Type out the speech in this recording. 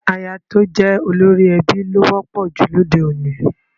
Aya tí ó jẹ́ olórí ẹbí ló wọ́pọ̀ jù lóde òní